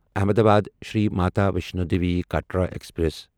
Ahmedabad Shri Mata Vaishno Devi Katra express